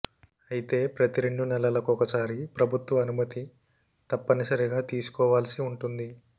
అయితే ప్రతి రెండు నెలలకొకసారి ప్రభుత్వ అనుమతి తప్పనిసరిగా తీసుకోవాల్సి ఉంటుంది